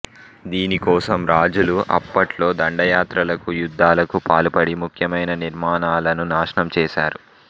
దీనికోసం రాజులు అప్పట్లో దండయాత్రలకు యుద్ధాలకు పాల్పడి ముఖ్యమైన నిర్మాణాలను నాశనం చేసారు